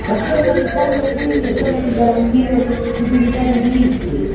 La scelta di fondo, quindi, è quella di garantire l'esigibilità dei diritti.